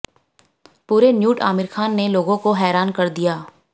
पूरे न्यूड आमिर खान ने लोगों को हैरान कर दिया